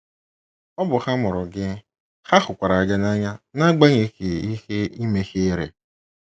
Ọ bụ ha mụrụ gị, ha hụkwara gị n’anya n’agbanyeghị ihe ị mehiere.